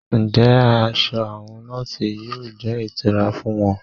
Ǹjẹ́ aṣọ àwọn nọọsi yóò jẹ́ ìtura fún wọn?